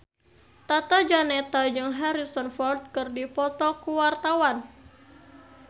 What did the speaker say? Tata Janeta jeung Harrison Ford keur dipoto ku wartawan